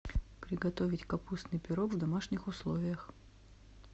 приготовить капустный пирог в домашних условиях